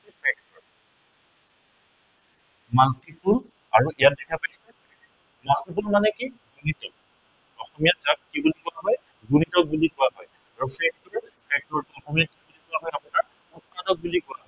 multiple আৰু ইয়াত দেখা পাইছে multiple মানে কি গুণিতক। অসমীয়াত ইয়াক কি বুলি কোৱা হয়, গুণিতক বুলি কোৱা হয়। অসমীয়াত কি বুলি কোৱা হয় আপোনাৰ উৎপাদক বুলি কোৱা হয়।